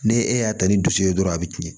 Ne e y'a ta ni dusu ye dɔrɔn a bɛ tiɲɛ